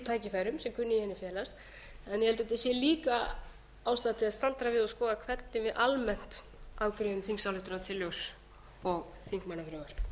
tækifærum sem í henni felast en ég held að það sé líka ástæða til að staldra við og skoða hvernig við almennt afgreiðum þingsályktunartillögur og þingmannafrumvörp